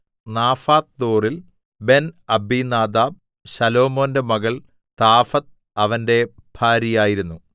നാഫത്ത്ദോറിൽ Ben Abinadab ശലോമോന്റെ മകൾ Taphath അവന്റെ ഭാര്യയായിരുന്നു